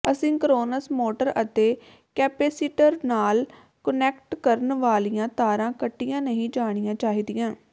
asynchronous motor ਅਤੇ capacitor ਨਾਲ connect ਕਰਨ ਵਾਲੀਆਂ ਤਾਰਾਂ ਕੱਟੀਆਂ ਨਹੀਂ ਜਾਣੀਆਂ ਚਾਹੀਦੀਆਂ